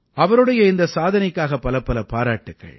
அவருடைய இந்த சாதனைக்காக பலப்பல பாராட்டுக்கள்